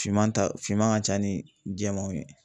Finman ta finman ka ca ni jɛmanw ye